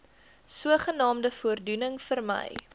sogenaamde voordoening vermy